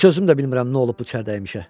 Heç özüm də bilmirəm nə olub bu çərdəymişə.